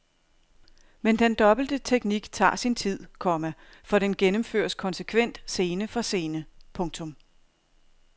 Men den dobbelte teknik tager sin tid, komma for den gennemføres konsekvent scene for scene. punktum